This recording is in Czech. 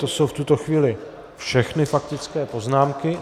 To jsou v tuto chvíli všechny faktické poznámky...